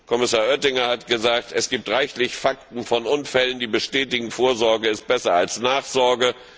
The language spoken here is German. Kommissar Oettinger hat gesagt, es gibt reichlich Fakten von Unfällen, die bestätigen Vorsorge ist besser als Nachsorge.